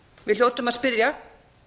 við hljótum að spyrja